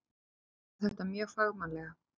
Við gerðum þetta mjög fagmannlega.